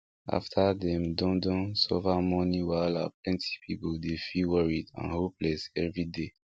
after dem don don suffer money wahala plenty people dey feel worried and hopeless every day